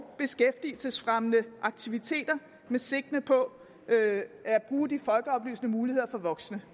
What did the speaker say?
beskæftigelsesfremmende aktiviteter med sigte på at bruge de folkeoplysende muligheder for voksne